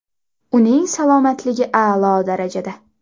Uning salomatligi a’lo darajada.